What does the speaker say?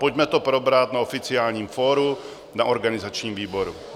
Pojďme to probrat na oficiálním fóru na organizačním výboru.